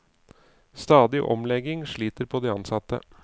Stadige omlegginger sliter på de ansatte.